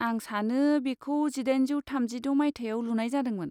आं सानो, बेखौ जिदाइनजौ थामजिद' मायथाइयाव लुनाय जादोंमोन।